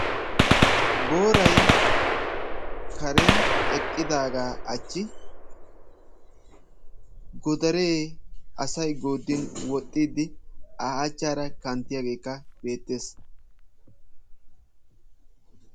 Booray karen eqqidaga achchi godaaree asay goodin woxiyage a achchara kanttiyagekka beettees.